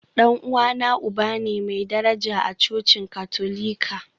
Dan uwana uba ne mai daraja a cocin Katolika.